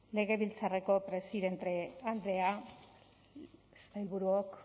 legebiltzarreko presidente andrea